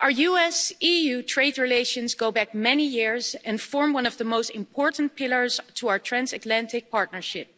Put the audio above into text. Our US EU trade relations go back many years and form one of the most important pillars to our transatlantic partnership,